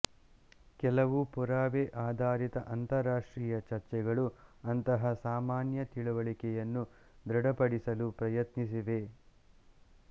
ಕೆಲವು ಪುರಾವೆ ಆಧಾರಿತ ಅಂತರರಾಷ್ಟ್ರೀಯ ಚರ್ಚೆಗಳು ಅಂತಹ ಸಾಮಾನ್ಯ ತಿಳುವಳಿಕೆಯನ್ನು ದೃಢಪಡಿಸಲು ಪ್ರಯತ್ನಿಸಿವೆ